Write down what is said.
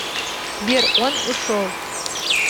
сбер он ушел